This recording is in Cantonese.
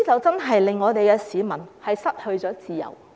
在"黑暴"期間，市民真的失去自由。